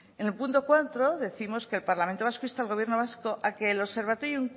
en el punto cuatro décimos que el parlamento vasco insta al gobierno vasco a que el observatorio